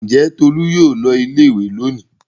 Ǹjẹ́ Tolú yóò lọ ilé-ìwé lónìí?